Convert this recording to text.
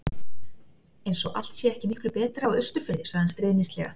Eins og allt sé ekki miklu betra á Austurfirði. sagði hann stríðnislega.